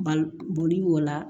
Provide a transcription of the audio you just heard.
Bal boli b'o la